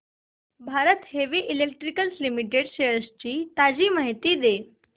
Bharat heavy electricals limited shares ची ताजी माहिती दे